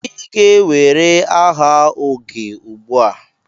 Ị ga-ewere aha oge ugbua.